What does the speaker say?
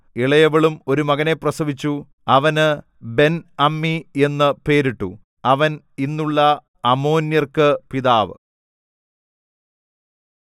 ഇളയവളും ഒരു മകനെ പ്രസവിച്ചു അവന് ബെൻഅമ്മീ എന്നു പേരിട്ടു അവൻ ഇന്നുള്ള അമ്മോന്യർക്ക് പിതാവ്